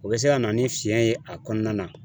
O be se ka na ni fiɲɛ ye a kɔnɔna na